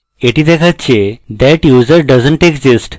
that দেখাচ্ছে that user doesn t exist